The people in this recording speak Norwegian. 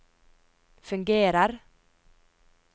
fungerer